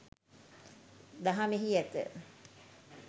දහමෙහි ඇත.